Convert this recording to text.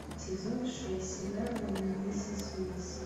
сезон шесть сериала миссис уилсон